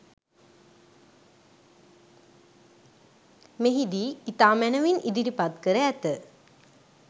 මෙහිදී ඉතා මැනවින් ඉදිරිපත් කර ඇත.